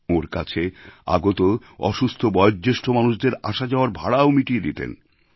ওঁর কাছে আগত অসুস্থ বয়ঃজ্যেষ্ঠ মানুষদের আসাযাওয়ার ভাড়াও মিটিয়ে দিতেন